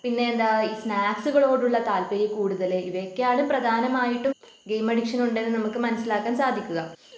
പിന്നെ എന്താ ഈ സ്നാക്സ്കളോടുള്ള താല്പര്യ കൂടുതല് ഇവയൊക്കെയാണ് പ്രധാനമായിട്ടും ഗെയിം അഡിക്ഷൻ ഉണ്ടെന്ന് നമുക്ക് മനസ്സിലാക്കാൻ സാധിക്കുക